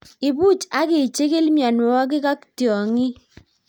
Ibuch ak ichikil mionwokik ak tiong'ik.